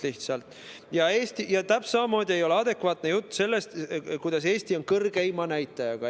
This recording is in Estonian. Täpselt samamoodi ei ole adekvaatne jutt see, kuidas Eesti on kõrgeima näitajaga.